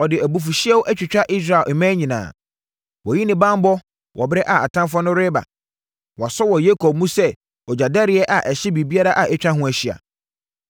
Ɔde abufuhyeɛ atwitwa Israel mmɛn nyinaa. Wayi ne banbɔ wɔ ɛberɛ a atamfoɔ no reba. Wasɔ wɔ Yakob mu sɛ ogyadɛreɛ a ɛhye biribiara a atwa ho ahyia.